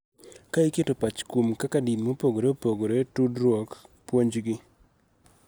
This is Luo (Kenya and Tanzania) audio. Ka iketo pach kuom kaka din mopogore opogore tudruok, puonjgi,